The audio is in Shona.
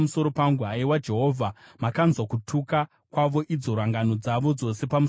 Haiwa Jehovha, makanzwa kutuka kwavo, idzo rangano dzavo dzose pamusoro pangu,